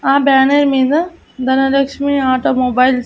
ఆ బ్యానర్ మీద Dhanalakshmi auto mobiles .